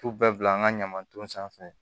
T'u bɛɛ bila an ka ɲaman ton sanfɛ